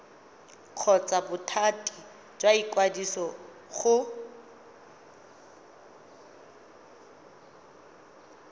kgotsa bothati jwa ikwadiso go